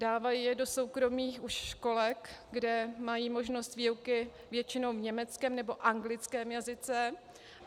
Dávají je do soukromých už školek, kde mají možnost výuky většinou v německém nebo anglickém jazyce.